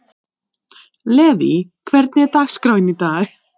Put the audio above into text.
Levý, hvernig er dagskráin í dag?